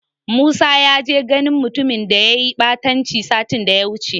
Musa ya je ganin mutumin da yayi ɓatanci satin daya wuce.